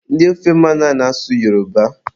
Ndị ofe mmanụ ana-asụ Yoroba